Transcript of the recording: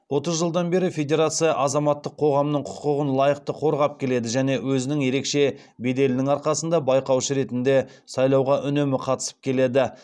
отыз жылдан бері федерация азаматтық қоғамның құқығын лайықты қорғап келеді және өзінің ерекше беделінің арқасында байқаушы ретінде сайлауға үнемі қатысып келеді